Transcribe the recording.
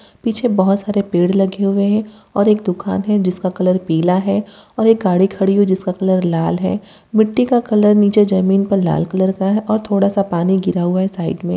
पीछे बहुत सारे पेड़ लगे हुए हैं और एक दुकान है जिसका कलर पीला है और एक गाड़ी खड़ी हुई है जिसका कलर लाल है| मिट्टी का कलर नीचे जमीन पर लाल कलर का है और थोड़ा-सा पानी गिरा हुआ है साइड में |